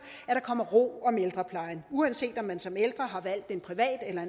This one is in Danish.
at der kommer ro om ældreplejen uanset om man som ældre har valgt en privat eller